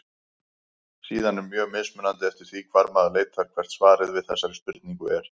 Síðan er mjög mismunandi eftir því hvar maður leitar hvert svarið við þessari spurningu er.